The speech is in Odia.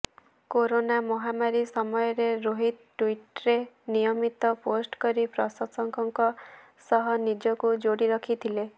କରୋନା ମହାମାରୀ ସମୟରେ ରୋହିତ ଟ୍ବିଟରରେ ନିୟମିତ ପୋଷ୍ଟକରି ପ୍ରଶଂସକଙ୍କ ସହ ନିଜକୁ ଯୋଡ଼ି ରଖିଥିଲେ